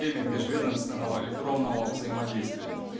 время межведомственного электронного взаимодействия